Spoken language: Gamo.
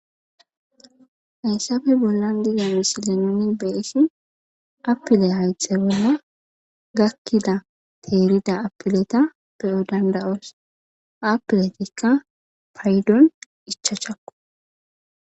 hayssafe bollan dige misile noni beissi apile hayxegima gakkida teerida apileta beyo danda7oos apiletikka paydon ichachakko